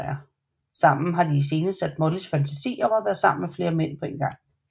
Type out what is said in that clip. Sammen har de iscenesat Mollys fantasi om at være sammen med flere mænd på en gang